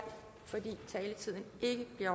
fordi taletiden ikke bliver